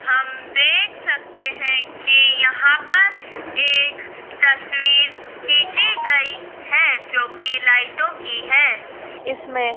हम देख सकते हैं कि यहाँ पर तस्वीर खींची गई है जो कि लाइटों की है इसमें --